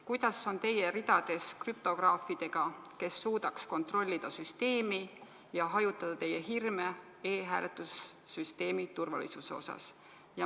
Kuidas on teie ridades krüptograafidega, kes suudaks kontrollida süsteemi ja hajutada teie hirme e-hääletussüsteemi turvalisuse asjus?